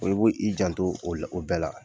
Oo bo i jan to o la o bɛɛ la.